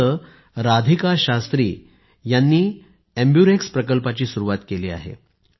तिथे राधिका शास्त्री यांनी एम्बुरेक्स प्रकल्पाची सुरुवात केली आहे